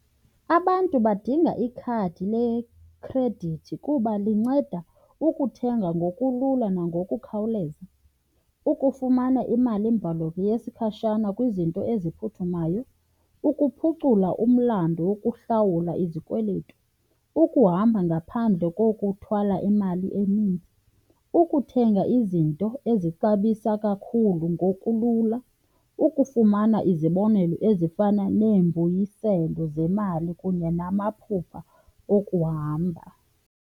Abantu badinga ikhadi lekhredithi kuba linceda ukuthenga ngokulula nangokukhawuleza, ukufumana imalimboleko yesikhashana kwizinto eziphuthumayo, ukuphucula umlando wokuhlawula izikweletu, ukuhamba ngaphandle kokuthwala imali eninzi, ukuthenga izinto ezixabisa kakhulu ngokulula, ukufumana izibonelo ezifana neembuyiselo zemali kunye namaphupha okuhamba.